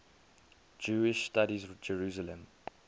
jewish studies jerusalem